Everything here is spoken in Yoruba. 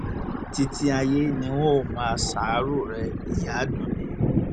títí ayé ni n óò máa ṣàárò rẹ ìyá àdúnni